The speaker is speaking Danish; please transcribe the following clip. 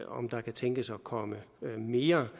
om der kan tænkes at komme mere